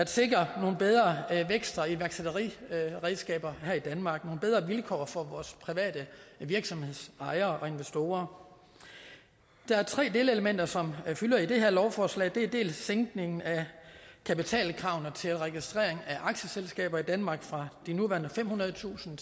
at sikre nogle bedre vækst og iværksætteriredskaber her i danmark nogle bedre vilkår for vores private virksomhedsejere og investorer der er tre delelementer som fylder i det her lovforslag det er dels sænkningen af kapitalkravene til registrering af aktieselskaber i danmark fra de nuværende femhundredetusind